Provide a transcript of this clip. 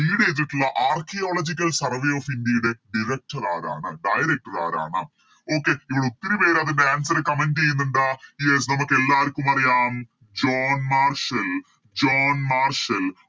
Lead ചെയ്തിട്ടുള്ള Archaeological survey of india യുടെ Director ആരാണ് Director ആരാണ് Okay ഇവിടെ ഒത്തിരി പേരതിൻറെ Answer comment ചെയ്യന്നുണ്ട് Yes നമുക്ക് എല്ലാവർക്കും അറിയാം ജോൺ മാർസൽ ജോൺ മാർസൽ